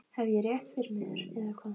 Hef ég rétt fyrir mér, eða hvað?